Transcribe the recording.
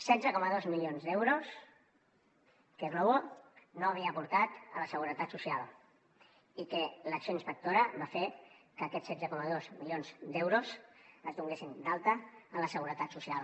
setze coma dos milions d’euros que glovo no havia aportat a la seguretat social i que l’acció inspectora va fer que aquest setze coma dos milions d’euros es donessin d’alta a la seguretat social